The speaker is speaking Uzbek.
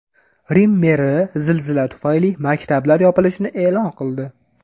Rim meri zilzila tufayli maktablar yopilishini e’lon qildi.